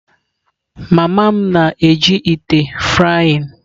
Mama m na-eji ite frying.